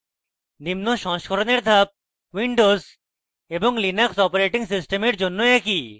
নিম্ন সংস্থাপনের ধাপ windows এবং linux অপারেটিং সিস্টেমের জন্য একই